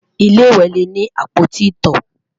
ilé ìwé lè ní apoti ito